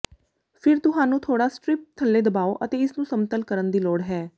ਫਿਰ ਤੁਹਾਨੂੰ ਥੋੜ੍ਹਾ ਸਟਰਿੱਪ ਥੱਲੇ ਦਬਾਓ ਅਤੇ ਇਸ ਨੂੰ ਸਮਤਲ ਕਰਨ ਦੀ ਲੋੜ ਹੈ